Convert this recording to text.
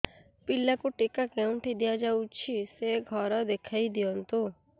ପିଲାକୁ ଟିକା କେଉଁଠି ଦିଆଯାଉଛି ସେ ଘର ଦେଖାଇ ଦିଅନ୍ତୁ